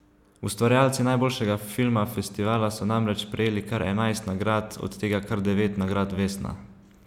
Ustvarjalci najboljšega filma festivala so namreč prejeli kar enajst nagrad, od tega kar devet nagrad vesna.